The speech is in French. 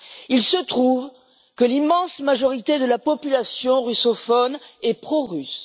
Il se trouve que l'immense majorité de la population russophone est prorusse.